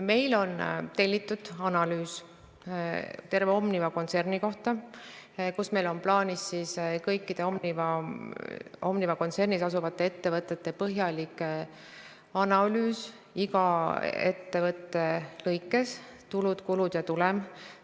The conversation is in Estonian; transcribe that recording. Meil on tellitud analüüs terve Omniva kontserni kohta, meil on plaanis teha kõikide Omniva kontsernis asuvate ettevõtete põhjalik analüüs: iga ettevõtte lõikes selle tulud, kulud ja tulem.